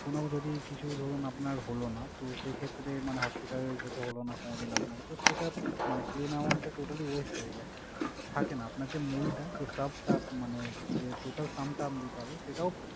কোন যদি কিছু ধরুন আপনার হলো না। তো সেই ক্ষেত্রে মানে hospitalized হতে হলো না কোনদিন আপনাকে। তো সেইটা মানে claim amount টা totally weast হয়ে যায়। থাকে না আপনার যে মূলটা, যে sub টা মানে যে total sum টা আপনি পাবেন সেটাও